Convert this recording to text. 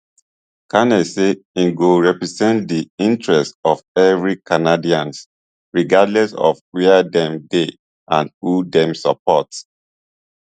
carney say im go represent di interest of evri canadians regardless of wia dem dey and who dem support